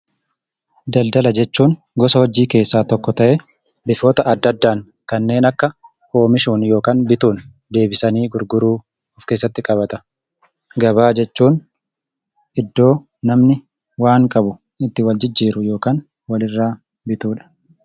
Daldala jechuun gosa hojii keessaa tokkoo ta'ee meeshota adda addaan kanneen akka oomishuun yookaan bituun deebisanii gurguruu of keessatti qabata. Gabaa jechuun iddoo namni waan qabu itti wal jijjiiru yookaan walirraa bitudha.